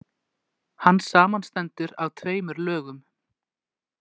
Hann samanstendur af tveimur lögum.